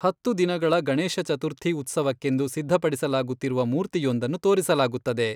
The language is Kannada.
ಹತ್ತು ದಿನಗಳ ಗಣೇಶ ಚತುರ್ಥಿ ಉತ್ಸವಕ್ಕೆಂದು ಸಿದ್ಧಪಡಿಸಲಾಗುತ್ತಿರುವ ಮೂರ್ತಿಯೊಂದನ್ನು ತೋರಿಸಲಾಗುತ್ತದೆ.